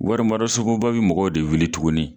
Warisogoba be mɔgɔw de wuli tuguni